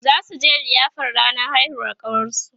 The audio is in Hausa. zasuje liyafar ranar haihuwar ƙawarsu